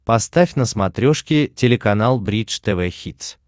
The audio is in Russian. поставь на смотрешке телеканал бридж тв хитс